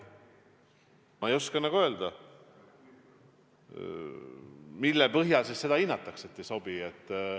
Ma ei oska öelda, mille põhjal seda hinnatakse, et ei sobi.